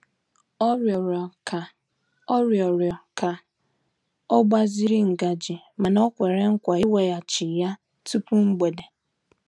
Ọ rịọrọ ka Ọ rịọrọ ka ọ gbaziri ngaji mana o kwere nkwa iweghachi ya tupu mgbede.